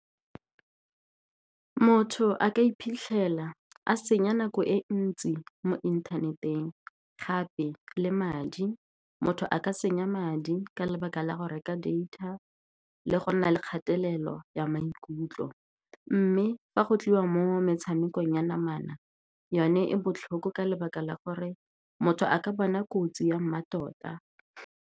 Motho a ka iphitlhela a senya nako e ntsi mo inthaneteng, gape le madi. Motho a ka senya madi ka ntlha ya go reka data le go nna le kgatelelo ya maikutlo, mme fa go tliwa mo metshamekong ya namana, yone e botlhoko ka lebaka la gore motho a ka bona kotsi ya mmatota.